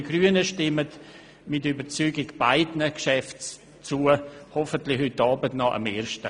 Wir Grünen stimmen mit Überzeugung beiden Geschäften zu – hoffentlich heute Abend noch dem ersten.